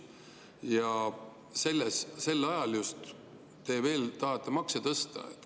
Ja just sel ajal te tahate veel makse tõsta.